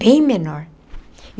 Bem menor.